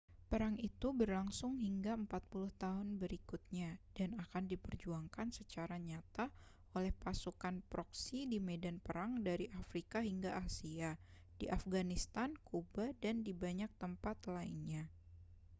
perang itu berlangsung hingga 40 tahun berikutnya dan akan diperjuangkan secara nyata oleh pasukan proksi di medan perang dari afrika hingga asia di afghanistan kuba dan di banyak tempat lainnya